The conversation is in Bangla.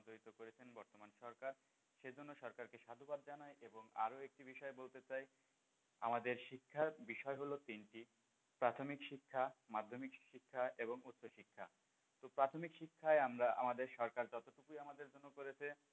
এ বিষয়ে বলতে চাই আমাদের শিক্ষার বিষয় হলো তিনটি প্রাথমিক শিক্ষা, মাধ্যমিক শিক্ষা এবং উচ্চ শিক্ষা প্রাথমিক শিক্ষায় আমরা আমাদের সরকার যতটুকুই আমাদের সাহায্য করেছে,